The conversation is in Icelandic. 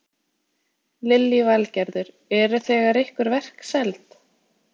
Lillý Valgerður: Eru þegar einhver verk seld?